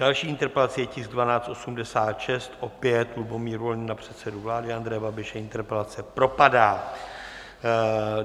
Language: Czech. Další interpelací je tisk 1286, opět Lubomír Volný na předsedu vlády Andreje Babiše, interpelace propadá.